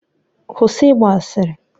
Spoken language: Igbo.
Kwụsị ịgba asịrị!